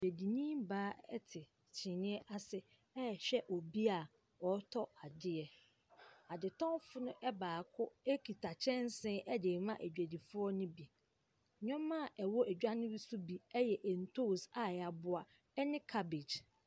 Dwadini baa ɛte kyiniiɛ ase ɛrehwɛ obia ɔretɔ adeɛ. Adetɔnfoɔ no baako ekuta kyɛnse de ma dwadifoɔ no bi Nnoɔma ɛwɔ adwa no so bi ɛyɛ ntos a yɛaboa ɛne cabbage.